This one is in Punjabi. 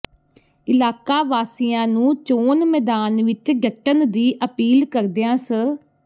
ਇਲਾਕਾ ਵਾਸੀਆਂ ਨੂੰ ਚੋਣ ਮੈਦਾਨ ਵਿੱਚ ਡਟਣ ਦੀ ਅਪੀਲ ਕਰਦਿਆਂ ਸ